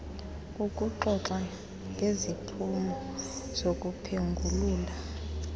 kukuxoxa ngeziphumo zokuphengulula